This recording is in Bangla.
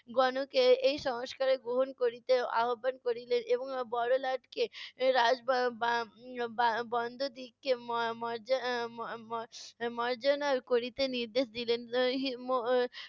গণকে এই সংস্কারের গ্রহন করিতে আহ্বান করিলেন এবং বড়লাটকে রাজ ব~ বা~ বন্দ দিগকে ম~ মরজ~ মর্জনা করিতে নির্দেশ দিলেন।